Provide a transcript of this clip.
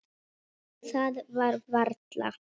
Það var varla.